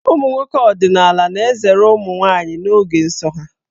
Ụmụ nwoke ọdịnaala na-ezere ụmụ nwaanyị n'oge nsọ ha.